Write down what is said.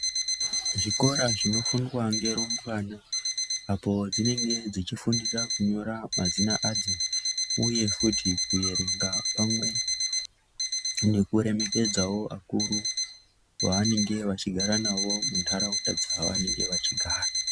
Zvikora zvinofundwa ngerumbwana apo dzinenge dzichifundira kunyora mazita adzo uye futhi kuerenga pamwe nekuremekedzawo akuru vaanenge vachigara nawo mundaraunda dzavanenge vachigara.